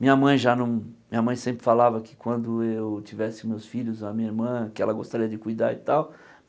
Minha mãe já não minha mãe sempre falava que quando eu tivesse meus filhos, a minha irmã, que ela gostaria de cuidar e tal.